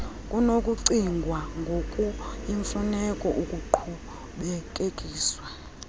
kunokucingwa ngokuyimfuneko ukuqhubekekisa